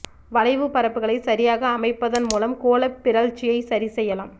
வளைவு பரப்புகளை சரியாக அமைப்பதன் மூலம் கோளப் பிறழ்ச்சியை சரி செய்யலாம்